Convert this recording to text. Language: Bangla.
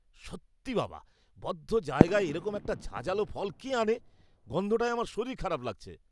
সত্যি বাবা, বদ্ধ জায়গায় এরকম একটা ঝাঁঝালো ফল কে আনে? গন্ধটায় আমার শরীর খারাপ লাগছে!